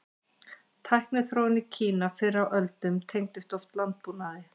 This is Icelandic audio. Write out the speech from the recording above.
Tækniþróun í Kína fyrr á öldum tengdist oft landbúnaði.